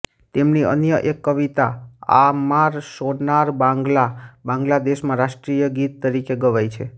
તેમની અન્ય એક કવિતા આમાર શોનાર બાંગ્લા બાંગ્લાદેશનાં રાષ્ટ્ર ગીત તરીકે ગવાય છે